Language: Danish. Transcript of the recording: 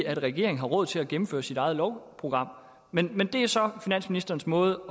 at regeringen har råd til at gennemføre sit eget lovprogram men det er så finansministerens måde